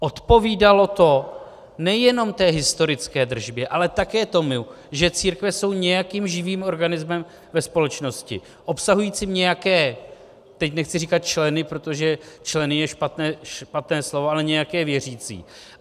Odpovídalo to nejenom té historické držbě, ale také tomu, že církve jsou nějakým živým organismem ve společnosti obsahujícím nějaké - teď nechci říkat členy, protože členy je špatné slovo, ale nějaké věřící.